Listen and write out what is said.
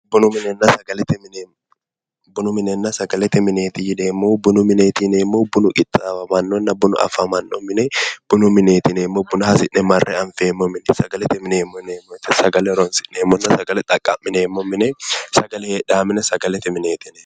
Bunu minenna sagaete mineeti bunu minenna sagalete mineeti yineemmohu bunu mineeti yineemmohu bunu qixxaawannonna bunu afamanno mine bunu mineeti yineemmo buna hasi'ne marre anfeemmo mineeti sagalete mineeti sagale horoonsi'neemmo mine sagale xaqqa'mineemmo mine sagale heedhaa mine sagalete mineet yineemmo